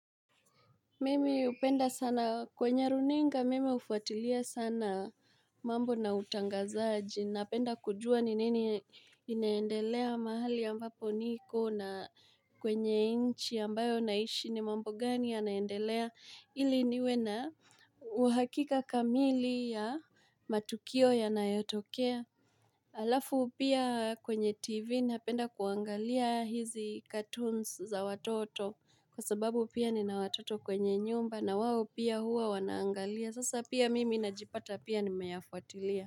Mimi upenda sana kwenye runinga mimi ufuatilia sana mambo na utangazaji napenda kujua ni nini inaendelea mahali ambapo niko na kwenye inchi ambayo naishi ni mambo gani ya naendelea ili niwe na uhakika kamili ya matukio yanayotokea Alafu pia kwenye tv napenda kuangalia hizi cartoons za watoto kwa sababu pia ni na watoto kwenye nyumba na wao pia huwa wanaangalia sasa pia mimi najipata pia nimeyafuatilia.